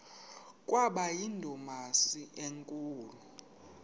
kwaba yindumasi enkulu